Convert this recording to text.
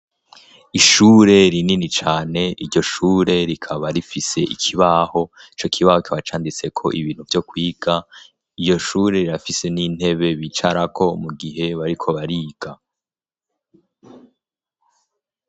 Ishure rinini cane. Iryo shure rikaba rifise ikibaho, ico kibaho kiba canditseko ibintu vyo kwiga, iyo shure rirafise n'intebe bicarako mu gihe bariko bariga.